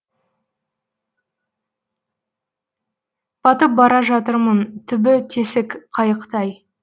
батып бара жатырмын түбі тесік қайықтай